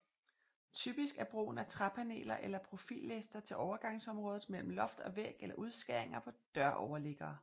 Typisk er brugen af træpaneler eller profillister til overgangsområdet mellem loft og væg eller udskæringer på døroverliggere